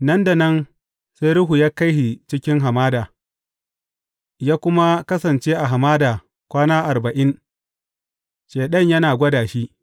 Nan da nan, sai Ruhu ya kai shi cikin hamada, ya kuma kasance a hamada kwana arba’in, Shaiɗan yana gwada shi.